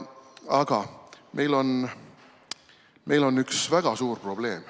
Aga meil on üks väga suur probleem.